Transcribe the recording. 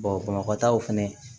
bamakɔ taw fɛnɛ